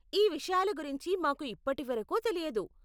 ఈ విషయాల గురించి మాకు ఇప్పటి వరకు తెలియదు.